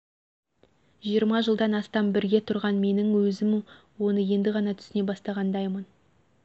жиырма жылдан астам бірге тұрған менің өзім оны енді ғана түсіне бастағандаймын